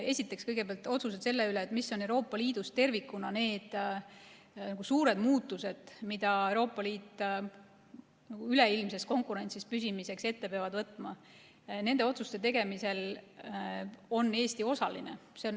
Esiteks, kõigepealt, otsused selle üle, mis on Euroopa Liidus tervikuna need suured muutused, mida Euroopa Liit üleilmses konkurentsis püsimiseks ette peab võtma, nende otsuste tegemisel on Eesti osaline.